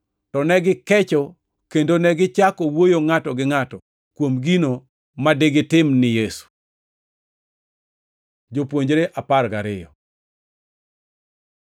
To negikecho kendo negichako wuoyo ngʼato gi ngʼato kuom gino ma digitim ni Yesu. Jopuonjre apar gariyo